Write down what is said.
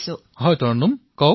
প্ৰধানমন্ত্ৰীঃ হয় তৰন্নুম কওক